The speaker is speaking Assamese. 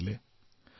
হাৰ নামানিলে